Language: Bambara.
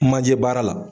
Manjɛ baara la